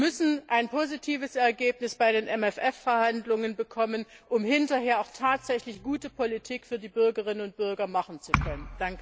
Wir müssen ein positives Ergebnis bei den MFR Verhandlungen bekommen, um hinterher auch tatsächlich gute Politik für die Bürgerinnen und Bürger machen zu können.